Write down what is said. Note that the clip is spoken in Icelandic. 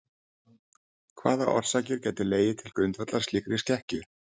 Hvaða orsakir gætu legið til grundvallar slíkri skekkju?